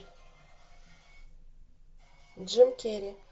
джим керри